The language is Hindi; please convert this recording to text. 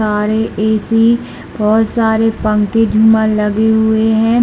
--सारे ए_सी और सारे पंखे झूमर लगे हुए है।